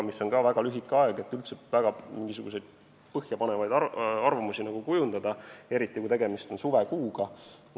See on aga siiski väga lühike aeg, et üldse mingisuguseid põhjapanevaid arvamusi kujundada, eriti kui tegemist on suvekuuga.